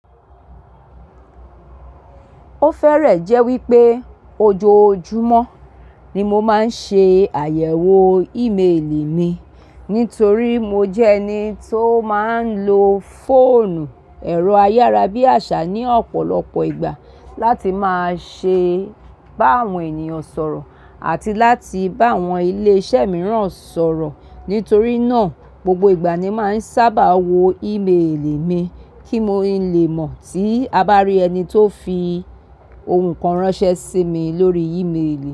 Ó fẹ́rẹ̀ẹ́ jẹ́ wípé ojoojúmọ́ ni mo máa ń ṣe àyẹ̀wò ímeèlì mi, nítorí mo jẹ́ ẹni tó máa ń lo fóònù ẹ̀rọ ayárabíàṣá ní ọ̀pọ̀lọpọ̀ ìgbà láti máa ṣe bá àwọn ènìyàn sọ̀rọ̀ àti láti bá àwọn ilé iṣẹ́ mìíràn sọ̀rọ̀. Nítorí náà gbogbo ìgbà ni máa ń sábà wo ímeèlì mi kí mo lè mọ̀ tí a bá rí ẹni tó fi ohun kan ránṣẹ́ sí mi lórí ímeèlì.